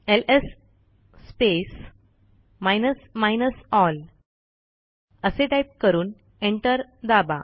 LS space minus minus L असे type करून enter दाबा